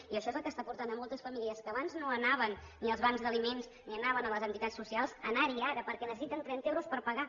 i això és el que està portant moltes famílies que abans no anaven ni als bancs d’aliments ni anaven a les entitats socials a anar hi ara perquè necessiten trenta euros per pagar